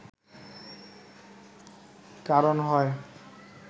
কারণ হয়